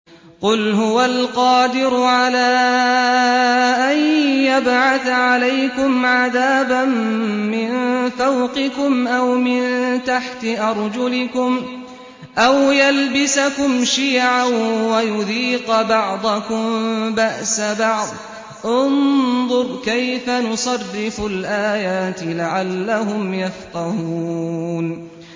قُلْ هُوَ الْقَادِرُ عَلَىٰ أَن يَبْعَثَ عَلَيْكُمْ عَذَابًا مِّن فَوْقِكُمْ أَوْ مِن تَحْتِ أَرْجُلِكُمْ أَوْ يَلْبِسَكُمْ شِيَعًا وَيُذِيقَ بَعْضَكُم بَأْسَ بَعْضٍ ۗ انظُرْ كَيْفَ نُصَرِّفُ الْآيَاتِ لَعَلَّهُمْ يَفْقَهُونَ